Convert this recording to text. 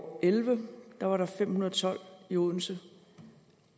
og elleve var der fem hundrede og tolv i odense